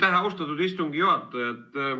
Aitäh, austatud istungi juhataja!